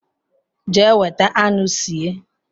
Jea weta anu sie